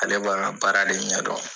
Ale b'a ka baara de ɲɛdɔn